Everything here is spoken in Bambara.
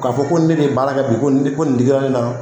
K'a fɔ ko ne de ye baara kɛ bi ko nin ko nin digira ne na